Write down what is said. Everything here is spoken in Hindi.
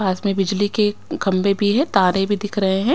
पास में बिजली के खंबे भी है तारे भी दिख रहे हैं।